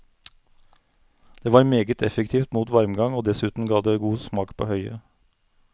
Det var meget effektivt mot varmgang, og dessuten ga det god smak på høyet.